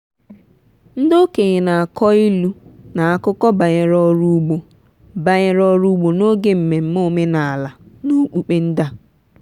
ndị okenye na-akọ ilu na akụkọ banyere ọrụ ugbo banyere ọrụ ugbo n'oge mmemme omenala na okpukpe ndị a.